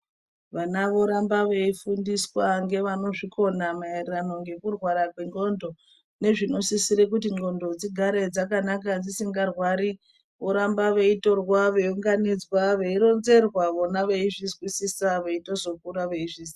Vana voramba veyifundiswa ngevanozvikona mayererano ngekurwara kwendxondo nezvinosisire kuti ndxondo dzigare dzakanaka dzisingarwari, voramba veyitorwa veyiwunganidzwa, veyironzerwa vona veyizvisisa veyizotokura vezvizvisisa.